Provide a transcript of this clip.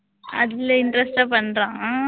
அதுல interest ஆ பண்றான் ஆஹ்?